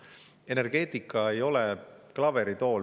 Energeetika ei ole klaveritool, mis püsib ühel jalal.